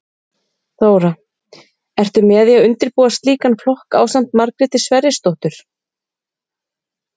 Þóra: Ertu með í að undirbúa slíkan flokk ásamt Margréti Sverrisdóttur?